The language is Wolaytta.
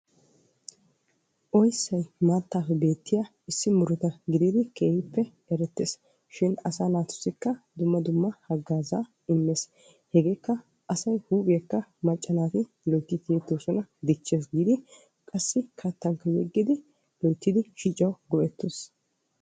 oyssay maattappe beettiya muruata gidid erettees, shin asaa naatussikka dumma dumma haggaazzaa immees. hegekka asay huuphiyakka macca naati tiyyetoosona, diccees giidi qassi kattankka yeggidi loyttidi shiccan go''eettes.